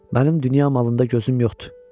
Mənim dünya malında gözüm yoxdur.